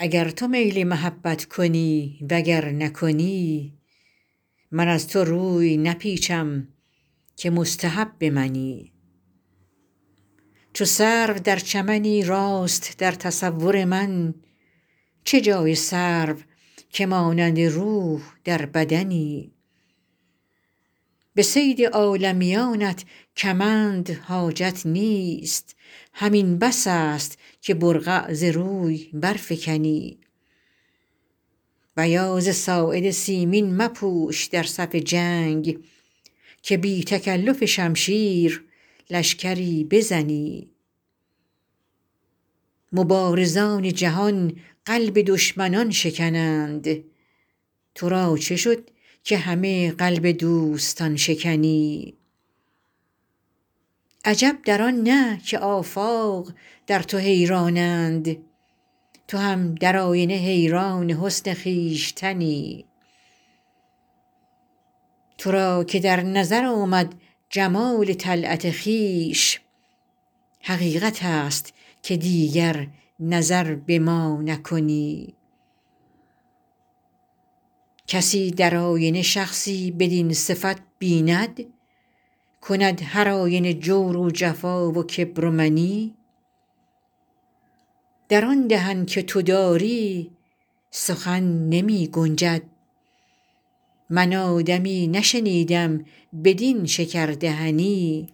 اگر تو میل محبت کنی و گر نکنی من از تو روی نپیچم که مستحب منی چو سرو در چمنی راست در تصور من چه جای سرو که مانند روح در بدنی به صید عالمیانت کمند حاجت نیست همین بس است که برقع ز روی برفکنی بیاض ساعد سیمین مپوش در صف جنگ که بی تکلف شمشیر لشکری بزنی مبارزان جهان قلب دشمنان شکنند تو را چه شد که همه قلب دوستان شکنی عجب در آن نه که آفاق در تو حیرانند تو هم در آینه حیران حسن خویشتنی تو را که در نظر آمد جمال طلعت خویش حقیقت است که دیگر نظر به ما نکنی کسی در آینه شخصی بدین صفت بیند کند هرآینه جور و جفا و کبر و منی در آن دهن که تو داری سخن نمی گنجد من آدمی نشنیدم بدین شکردهنی